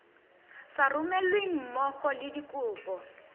sa romelweng mmogo le dikopo